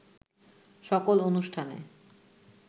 সকল অনুষ্ঠানে